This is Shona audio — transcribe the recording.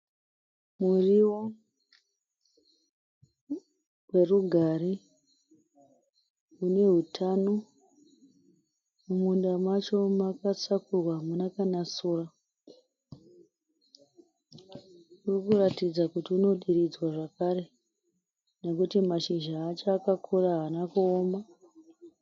Murio werugare une hutano, mumunda macho makasakurwa hamuna kana sora, unoratidza kuti unodiridzwa nekuti une hutano.